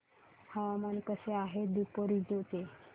हवामान कसे आहे दापोरिजो चे